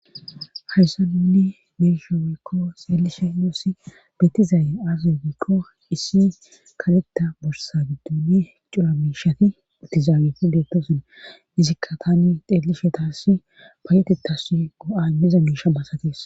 Hayssa nuni beishshe woykko xeellishshe nusi bettizaaye aaze giikko issi kaletta borsa gidduni cora miishati mitiza aweti beettoson izikka tani xeelishe taasi paayetetas go'a imiiza miishsha basatees